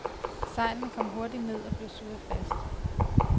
Sejlene kom hurtigt ned og blev surret fast.